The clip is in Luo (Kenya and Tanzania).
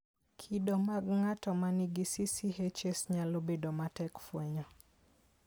Kido mag ng'ato ma nigi CCHS nyalo bedo matek fwenyo.